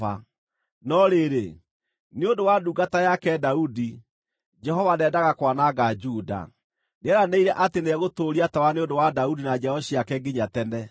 No rĩrĩ, nĩ ũndũ wa ndungata yake Daudi, Jehova ndeendaga kwananga Juda. Nĩeranĩire atĩ nĩegũtũũria tawa nĩ ũndũ wa Daudi na njiaro ciake nginya tene.